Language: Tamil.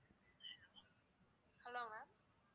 hello ma'am